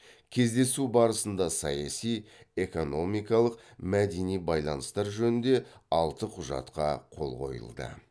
кездесу барысында саяси экономикалық мәдени байланыстар жөнінде алты құжатқа қол қойылды